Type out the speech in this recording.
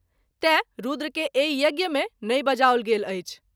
तैँ रूद्र के एहि यज्ञ मे नहिं बजाओल गेल अछि।